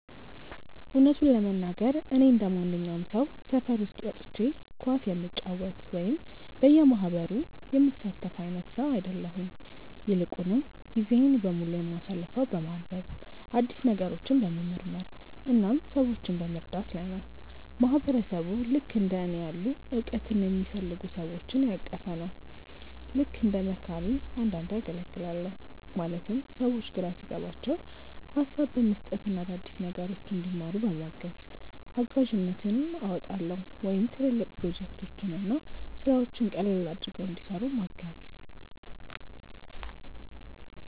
እውነቱን ለመናገር፣ እኔ እንደማንኛውም ሰው ሰፈር ውስጥ ወጥቼ ኳስ የምጫወት ወይም በየማህበሩ የምሳተፍ አይነት ሰው አይደለሁም። ይልቁንም ጊዜዬን በሙሉ የማሳልፈው በማንበብ፣ አዳዲስ ነገሮችን በመመርመር እና ሰዎችን በመርዳት ላይ ነው። ማህበረሰብ ልክእንደ እኔ ያሉ እውቀትን የሚፈልጉ ሰዎችን ያቀፈ ነው። ልክ እንደ መካሪ አንዳንዴ አገልግላለሁ ማለትም ሰዎች ግራ ሲገባቸው ሀሳብ በመስጠት እና አዳዲስ ነገሮችን እንዲማሩ በማገዝ። እጋዥነትም አወጣለሁ ወይም ትልልቅ ፕሮጀክቶችን እና ስራዎችን ቀለል አድርገው እንዲሰሩ ምገዝ።